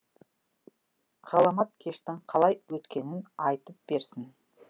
ғаламат кештің қалай өткенін айтып берсін